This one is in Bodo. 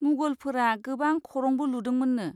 मुगलफोरा गोबां खरंबो लुदोंमोन्नो।